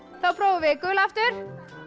þá prófum við gula aftur